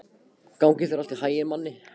Gangi þér allt í haginn, Manni.